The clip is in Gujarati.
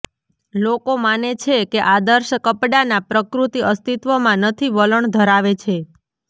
લોકો માને છે કે આદર્શ કપડાના પ્રકૃતિ અસ્તિત્વમાં નથી વલણ ધરાવે છે